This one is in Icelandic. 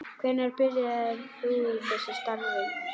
Hvenær byrjaðir þú í þessu starfi?